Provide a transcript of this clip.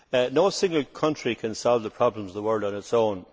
No single country can solve the problems of the world on its own.